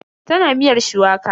Tana miyar shuwaka.